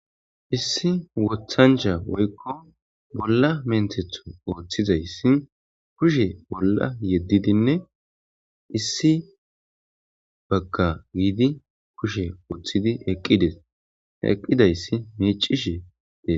issi wothancha woykko bolla menthethu ooththizayssi kushe bolla yeddidinne issi bagga giidi kushe ooththidi eqqides eqqidayssi miicishe dee